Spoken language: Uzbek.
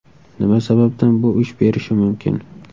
Nima sababdan bu ish berishi mumkin?